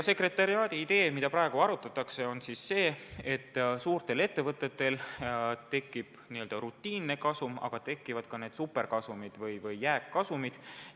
Sekretariaadi idee, mida praegu arutatakse, on see, et suurtel ettevõtetel tekib n-ö rutiinne kasum, aga tekivad ka superkasumid või jääkkasumid.